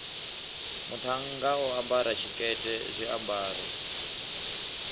muṱhannga o ambara tshikete zwiambaro